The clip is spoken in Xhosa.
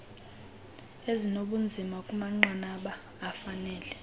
ezinobunzima kumanqanaba afanele